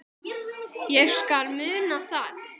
Ég skal muna það